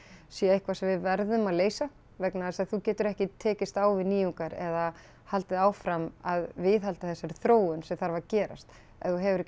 sé eitthvað sem við verðum að leysa vegna þess að þú getur ekki tekist á við nýjungar eða haldið áfram að viðhalda þessari þróun sem þarf að gerast ef þú hefur ekki